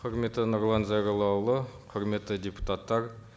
құрметті нұрлан зайроллаұлы құрметті депутаттар